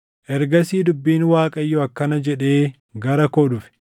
Ergasii dubbiin Waaqayyoo akkana jedhee gara koo dhufe: